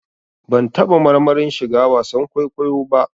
Ban taɓa marmarin shiga wasan kwaikwayo ba